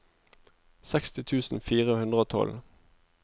seksti tusen fire hundre og tolv